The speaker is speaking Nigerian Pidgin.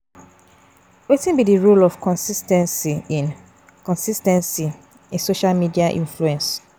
Wetin be di role of consis ten cy in consis ten cy in social media influence?